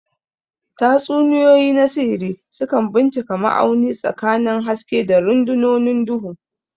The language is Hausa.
Tatsuniyoyi na sihiri sukan bincika ma'auni tsakanin haske da rundunonin duhu.